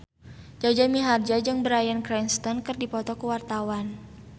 Jaja Mihardja jeung Bryan Cranston keur dipoto ku wartawan